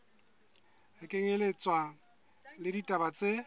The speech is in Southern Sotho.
ho kenyelletswa le ditaba tse